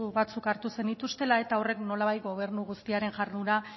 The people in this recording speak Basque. batzuk hartu zenituztela eta horrek nolabait gobernu guztiaren jarduna